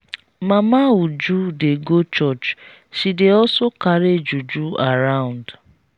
mama uju dey go church she dey also carry juju around.